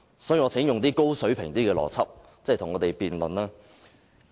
所以，我請周議員用較高水平的邏輯思維與我們辯論。